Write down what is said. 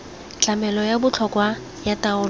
tlamelo ya botlhokwa ya taolo